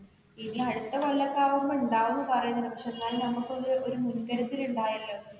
ഇനി അടുത്ത കൊല്ലാതാകുമ്പോള് ഉണ്ടാകുന്ന പറയുന്ന ഉണ്ട് പക്ഷെ എന്നാലും നമ്മക്ക് ഒരു മുൻകരുതല് ഉണ്ടല്ലോ.